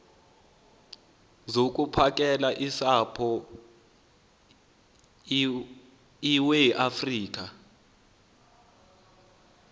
zokuphakela usapho iweafrika